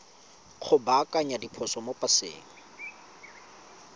go baakanya diphoso mo paseng